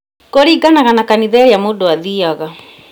Kũringanaga na kanitha ĩrĩa mũndũ athiaga